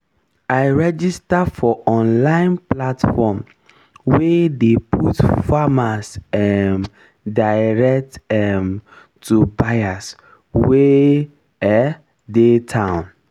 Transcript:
i register for online platform wey dey put farmers um direct um to buyers wey um dey town